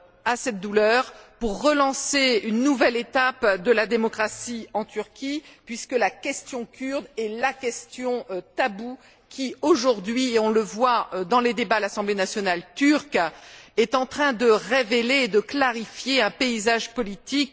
à cette douleur pour relancer une nouvelle étape de la démocratie en Turquie puisque la question kurde est la question taboue qui, aujourd'hui on le voit dans les débats à l'assemblée nationale turque est en train de révéler et de clarifier le paysage politique.